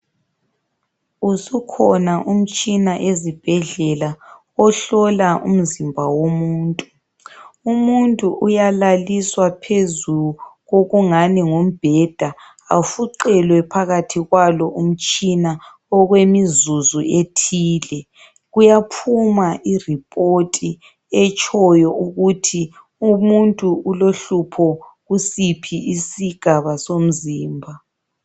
Usukhona umtshina ezibhedlela ohlola umzimba womuntu. Umuntu uyalaliswa phezu kokungani ngumbheda afuqelwe phakathi kwalo umtshina okwemizuzu ethile kuyaphuma ireport etshoyo ukuthi umuntu ulohlupho kusiphi isigaba somzimba.